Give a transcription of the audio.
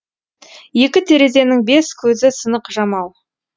екі терезенің бес көзі сынық жамау